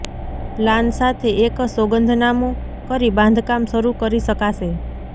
plan સાથે એક સોગંદનામુ કરી બાંધકામ શરૂ કરી શકાશે